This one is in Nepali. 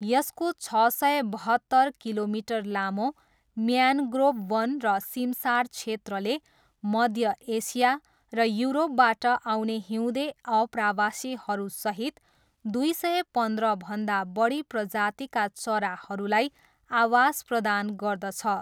यसको छ सय बहत्तर किलोमिटर लामो म्यान्ग्रोभ वन र सिमसार क्षेत्रले मध्य एसिया र युरोपबाट आउने हिउँदे आप्रवासीहरूसहित दुई सय पन्ध्रभन्दा बढी प्रजातिका चराहरूलाई आवास प्रदान गर्दछ।